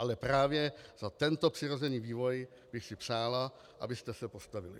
Ale právě za tento přirozený vývoj bych si přála, abyste se postavili.